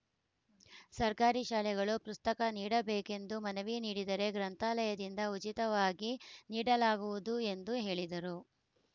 ಸರ್ಕಾರಿ ಶಾಲೆಗಳು ಪ್ರುಸ್ತಕ ನೀಡಬೇಕೆಂದು ಮನವಿ ನೀಡಿದರೆ ಗ್ರಂಥಾಲಯದಿಂದ ಉಚಿತವಾಗಿ ನೀಡಲಾಗುವುದು ಎಂದು ಹೇಳಿದರು